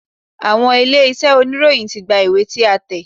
Àwọn ilé-iṣẹ́ oníròyìn ti gba ìwé tí a tẹ̀.